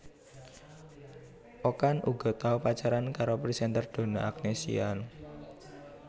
Okan uga tau pacaran karo presenter Donna Agnesia